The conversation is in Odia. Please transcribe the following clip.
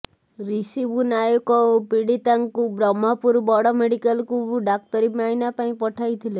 ରୀ ଶିବୁ ନାୟକ ଓ ପୀଡ଼ିତାଙ୍କୁ ବ୍ରହ୍ମପୁର ବଡ ମେଡିକାଲକୁ ଡାକ୍ତରୀ ମାଇନା ପାଇଁ ପଠାଇଥିଲେ